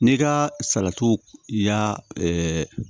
N'i ka salati y'a